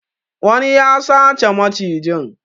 Wani ya sace macijin.